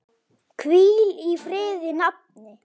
Hvíl í friði nafni.